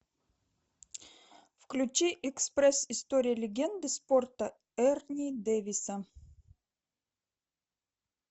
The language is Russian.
включи экспресс история легенды спорта эрни дэвиса